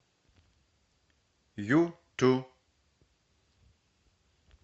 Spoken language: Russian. юту